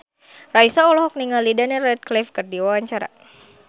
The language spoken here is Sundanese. Raisa olohok ningali Daniel Radcliffe keur diwawancara